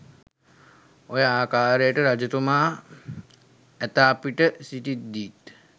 ඔය ආකාරයට රජතුමා ඇතා පිට සිටිද්දීත්